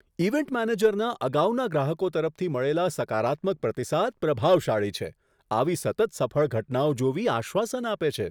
Event મેનેજરના અગાઉના ગ્રાહકો તરફથી મળેલા સકારાત્મક પ્રતિસાદ પ્રભાવશાળી છે. આવી સતત સફળ ઘટનાઓ જોવી આશ્વાસન આપે છે.